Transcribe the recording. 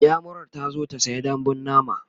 inyamurar tazo ta saya dambun nama